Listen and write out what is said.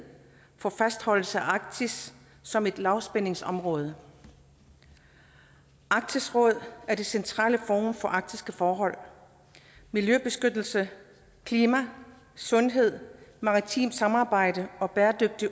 for fastholdelse af arktis som et lavspændingsområde arktisk råd er det centrale forum for arktiske forhold miljøbeskyttelse klima sundhed maritimt samarbejde og bæredygtig